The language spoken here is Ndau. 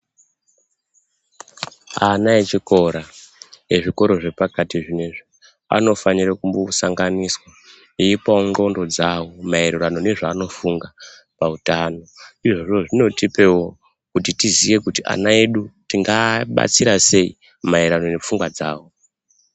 Ana echikora ezvikora ezvikora zvepakati zvinoizvi anofanire kumbosanganiswa eipavo ndxondo dzavo maererano nezvanofunga pautano. Izvozvo zvinotipevo kuti tiziye kuti ana edu toabatsira sei maererano nepfungwa dzavo.